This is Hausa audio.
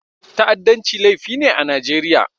Ta'addanci laifi ne a Najeriya.